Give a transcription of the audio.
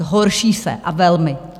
Zhorší se, a velmi!